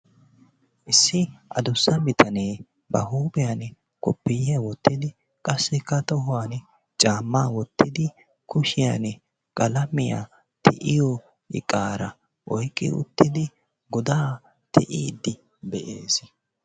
Issi. adussa bitanee ba huuphiyani koppiyyiya wottidi qassikka tohuwani caammaa wottidi qalamiya ti'iyo iqaara woyqqi uttidi godaa ti'iiddi de'eesi.